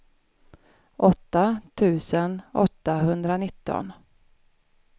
åtta tusen åttahundranitton